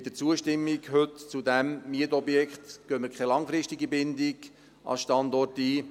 Mit der heutigen Zustimmung zu diesem Mietobjekt gehen wir keine langfristige Bindung an den Standort ein.